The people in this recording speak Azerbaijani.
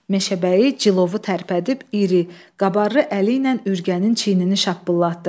Meşəbəyi cilovu tərpədib iri, qabarlı əliylə Ürgənin çiynini şappıllatdı.